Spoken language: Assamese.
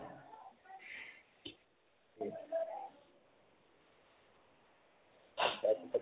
তাৰ পিছত